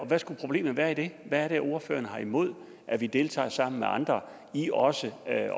hvad skulle problemet være i det hvad er det ordføreren har imod at vi deltager sammen med andre i også at